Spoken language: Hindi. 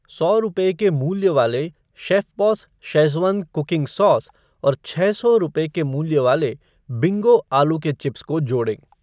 सौ रुपये के मूल्य वाले शेफ़बॉस शेज़वान कुकिंग सॉस और छः सौ रूपये के मूल्य वाले बिंगो आलू के चिप्स को जोड़ें।